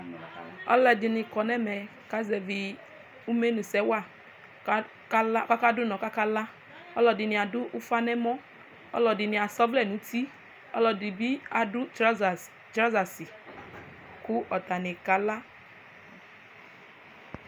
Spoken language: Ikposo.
aloɛdini kɔ n'ɛmɛ kazɛvi imenu sɛ wa kala k'aka do unɔ k'aka la ɔloɛdini ado ufa n'ɛmɔ ɔloɛdini asɛ ɔvlɛ n'uti ɔloɛdi bi ado trɔsa si kò atani kala